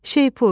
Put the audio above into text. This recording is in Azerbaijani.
Şeypur,